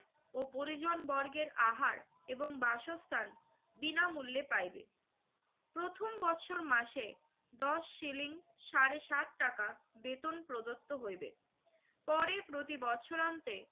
ও পরিজনবর্গের আহার এবং বাসস্থান বিনামূল্যে পাইবে। প্রথম বছর মাসে দশ শিলিং সাড়ে সাত টাকা বেতন প্রদত্ত হইবে। পরে প্রতি বছরান্তে